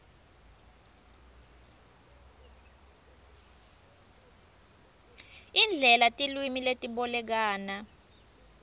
indlela tilwimi letibolekana